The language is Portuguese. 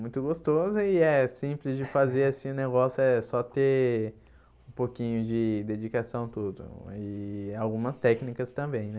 Muito gostoso e é simples de fazer assim o negócio é só ter um pouquinho de dedicação tudo e algumas técnicas também, né?